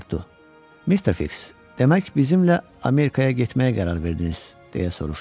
Passportu: Mr. Fiks, demək bizimlə Amerikaya getməyə qərar verdiniz, deyə soruşdu.